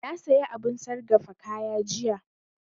Na saya abun sargafa kaya jiya